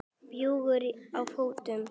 Bjúgur á fótum.